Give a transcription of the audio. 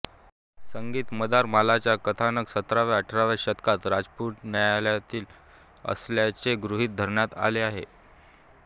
संगीत मंदारमालाचं कथानक सतराव्याअठराव्या शतकात राजपुतान्यातील असल्याचे गृहीत धरण्यात आलं आहे